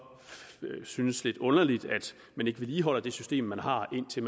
synes lidt underligt at man ikke vedligeholder det system man har indtil